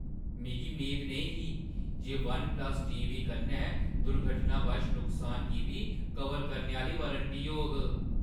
मिगी मेद नेईं ही जे वन-प्लस टीवी कन्नै दुर्घटनावश नुकसान गी बी कवर करने आह्‌ली वारंटी होग।